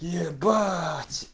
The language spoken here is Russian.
ебать